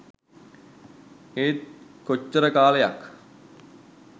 ඒත් කොච්චර කාලයක්